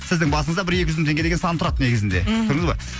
сіздің басыңызда бір екі жүз мың деген сан тұрады негізінде мхм көрдіңіз ба